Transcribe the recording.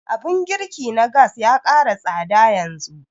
Abun girki na gas ya ƙara tsada yanzu